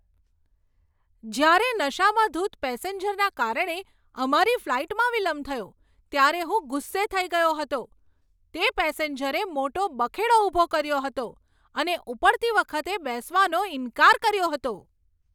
જ્યારે નશામાં ધૂત પેસેન્જરના કારણે અમારી ફ્લાઈટમાં વિલંબ થયો ત્યારે હું ગુસ્સે થઈ ગયો હતો. તે પેસેન્જરે મોટો બખેડો ઊભો કર્યો હતો અને ઉપડતી વખતે બેસવાનો ઈનકાર કર્યો હતો.